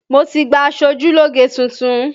Mo ti gba aṣojúlógé tuntun